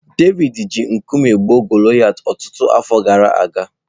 Devid ji nkume gbuo Golayat ọtụtụ afọ gara aga.